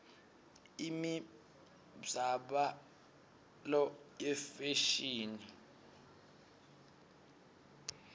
imibzalo yefashini